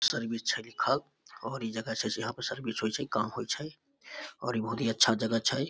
Service छै लिखल और ई जगह छै जहाँ पर सर्विस होय छैकाम होय छै और ई बहुत ही अच्छा जगह छै।